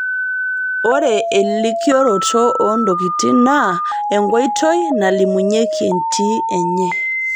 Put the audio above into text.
Ore elikioroto oo ntokitin naa enkoitoi nalimunyieki entii enye